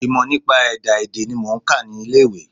Ìmọ̀ nípa ẹ̀dá èdè ni mò ń kà ní ilé ìwé.